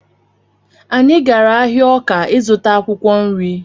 Anyị gara ahịa Ọka ịzụta akwụkwọ nri